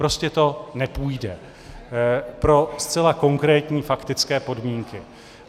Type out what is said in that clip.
Prostě to nepůjde pro zcela konkrétní faktické podmínky.